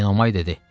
Enomay dedi: